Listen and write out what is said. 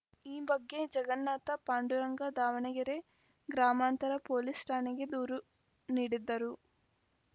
ಈ ಬಗ್ಗೆ ಜಗನ್ನಾಥ ಪಾಂಡುರಂಗ ದಾವಣಗೆರೆ ಗ್ರಾಮಾಂತರ ಪೊಲೀಸ್‌ ಠಾಣೆಗೆ ದೂರು ನೀಡಿದ್ದರು